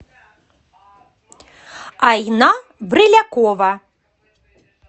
айна брылякова